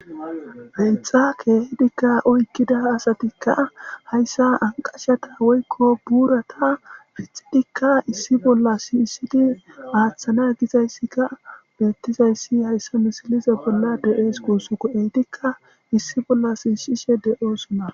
Peexa keehidikka oykkida asatikka hayssa anqashata woykko buurata fixidikka issi bolla siiyisidi aaththana gizayssika beettizayssi hayssa misiliza bolla de7ees qusoko eidikka issi bolla siishishe de7oosona.